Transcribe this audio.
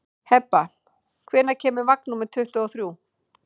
Hebba, hvenær kemur vagn númer tuttugu og þrjú?